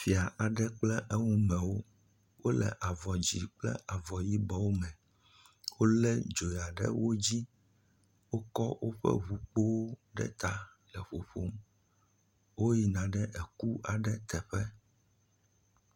fia aɖe kple eŋtsi meawo wóle avɔ dzĩ kple avɔ yibɔ me wóle dzoya ɖe wodzi wókɔ wóƒe ʋukpowo ɖe ta le ƒoƒom wó yina ɖe eku aɖe teƒe